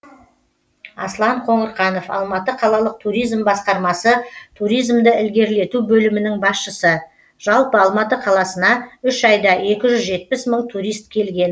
аслан қоңырқанов алматы қалалық туризм басқармасы туризмді ілгерілету бөлімінің басшысы жалпы алматы қаласына үй айда екі жүз жетпіс мың турист келген